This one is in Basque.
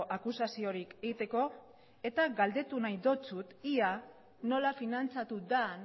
akusaziorik egiteko eta galdetu nahi dizut ia nola finantzatu den